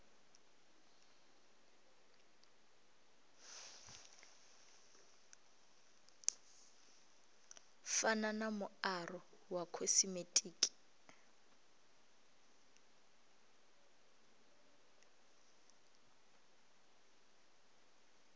fana na muaro wa khosimetiki